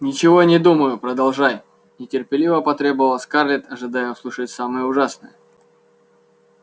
ничего не думаю продолжай нетерпеливо потребовала скарлетт ожидая услышать самое ужасное